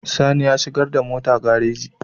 Sani ya shigar da mota gareji